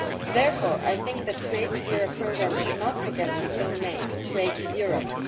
The Creative Europe programme should not forget its own name Creative Europe'.